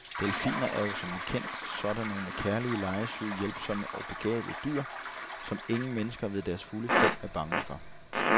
Delfiner er jo som bekendt sådan nogle kærlige, legesyge, hjælpsomme og begavede dyr, som ingen mennesker ved deres fulde fem er bange for.